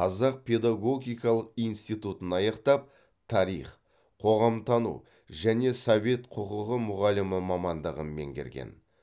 қазақ педагогикалық институтын аяқтап тарих қоғамтану және совет құқығы мұғалімі мамандығын меңгерген